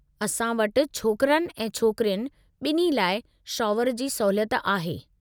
असां वटि छोकिरनि ऐं छोकरियुनि बि॒न्ही लाइ शॉवर जी सहूलियत आहे।